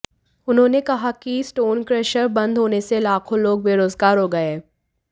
उन्होंने कहा कि स्टोन क्रेशर बंद होने से लाखों लोग बेरोजगार हो गए हैं